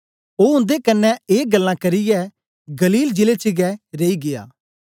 ओ उन्दे कन्ने ए गल्लां करियै गलील जिले च गै रेई गीया